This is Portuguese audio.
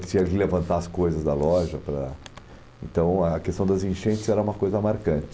Que tinha que levantar as coisas da loja para... Então a questão das enchentes era uma coisa marcante.